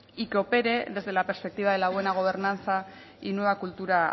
y que opere desde la perspectiva de la buena gobernanza y nueva cultura